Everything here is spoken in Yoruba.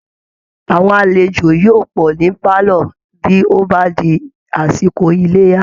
Àwọn alejò yóò pọ̀ ní pálọ̀ bí ó bá di àsìkò Iléyá